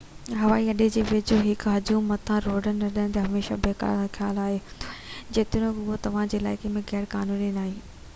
هوائي اڏي جي ويجهو يا هڪ هجوم مٿان ڊِرون اڏئڻ هميشه بيڪار خيال هوندو آهي جيتوڻيڪ اِهو توهان جي عِلائقي ۾ غير قانوني ناهي